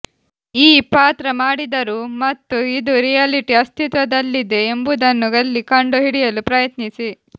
ಈ ಪಾತ್ರ ಮಾಡಿದರು ಮತ್ತು ಇದು ರಿಯಾಲಿಟಿ ಅಸ್ತಿತ್ವದಲ್ಲಿದೆ ಎಂಬುದನ್ನು ಅಲ್ಲಿ ಕಂಡುಹಿಡಿಯಲು ಪ್ರಯತ್ನಿಸಿ